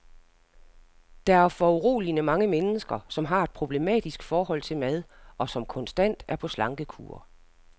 Der er foruroligende mange mennesker, som har et problematisk forhold til mad, og som konstant er på slankekur.